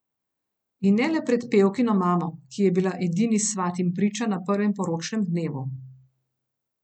In ne le pred pevkino mamo, ki je bila edini svat in priča na prvem poročnem dnevu.